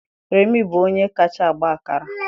Remi bụ onye kacha agba akara